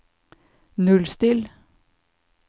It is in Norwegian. nullstill